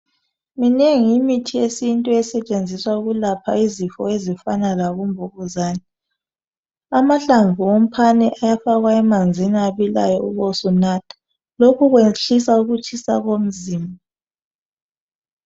Minengi imithi yesintu esetshenziswa ukulapha izifo ezifana labomvukuzane amahlamvu womphane ayafakwa emanzini ebilayo ubusunatha. Lokhu kwehlisa ukutshisa komzimba.